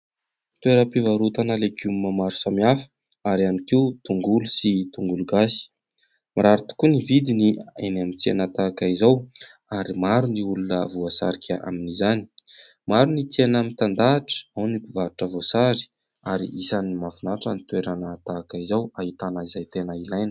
Toeram-pivarotana legioma maro samihafa ary ihany koa tongolo sy tongolo gasy. Mirary tokoa ny vidiny eny amin'ny tsena tahaka izao ary maro ny olona voasarika amin'izany. Maro ny tsena mitandahatra, ao ny mpivarotra voasary ary isan'ny mahafinatra ny toerana tahaka izao ahitana izay tena ilaina.